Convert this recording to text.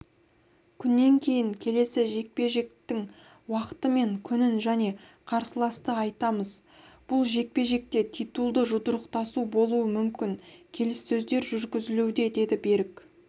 күннен кейін келесі жекпе-жектің уақыты мен күнін және қарсыласты айтамыз бұл жекпе-жек те титулды жұдырықтасу болуы мүмкін келіссөздер жүргізілуде деді берік